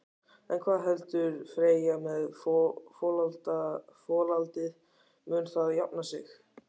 En hvað heldur Freyja með folaldið, mun það jafna sig?